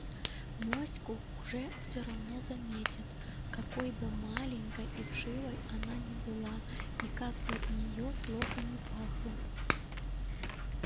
моську же все равно заметят какой бы маленькой и вшивой она ни была и как бы от нее плохо ни пахло